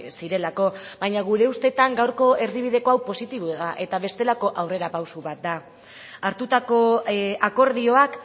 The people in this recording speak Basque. zirelako baina gure ustetan gaurko erdibideko hau positiboa da eta bestelako aurrerapauso bat da hartutako akordioak